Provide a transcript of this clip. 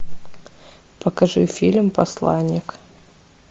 покажи фильм посланник